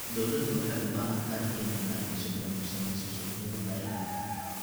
Dawladdu waxay u baahan tahay inay maalgashi badan ku samayso suuqyada beeraha.